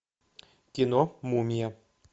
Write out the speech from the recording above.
кино мумия